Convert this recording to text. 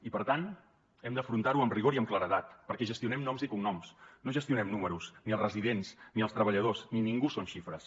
i per tant hem d’afrontar ho amb rigor i amb claredat perquè gestionem noms i cognoms no gestionem números ni els residents ni els treballadors ni ningú són xifres